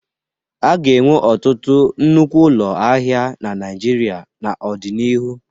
A ga-enwe ọtụtụ nnukwu ụlọ ahịa na Naịjirịa n'ọdịnihu.